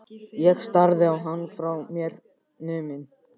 Ég starði á hann, frá mér numin.